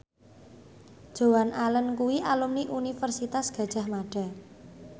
Joan Allen kuwi alumni Universitas Gadjah Mada